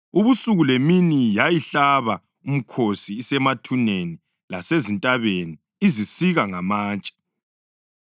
Ubusuku lemini yayihlaba umkhosi isemathuneni lasezintabeni, izisike ngamatshe.